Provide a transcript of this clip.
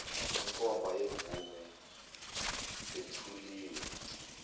inkomba yemvume yethuliwe